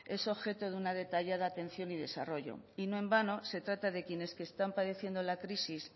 es objeto de una detallada atención y desarrollo y no en vano se trata de quienes están padeciendo la crisis